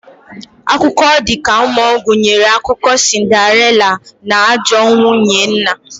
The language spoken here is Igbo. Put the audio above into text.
Akụkọ ọ dika mmuo gunyere akụkọ sinderila na ajọọ nwunye nna